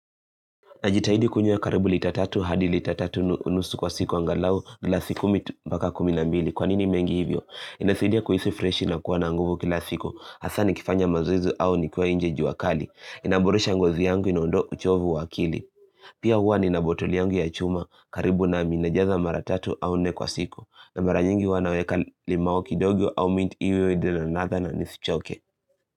Najitahidi kunywa karibu lita tatu hadi lita tatu unusu kwa siku angalau glasi kumi mpaka kumi na mbili. Kwanini mengi hivyo? Inasidia kuhisi freshi na kuwa na nguvu kila siku. Hasaa nikifanya mazoezi au nikiwa inje jua kali. Inamburusha ngozi yangu inaondoa uchovu wakili. Pia huwa ni nabotoli yangu ya chuma karibu nami najaza mara tatu au nne kwa siku. Na mara nyingi uwa naweka limau kidogo au mint iwe enye ladha na nisichoke.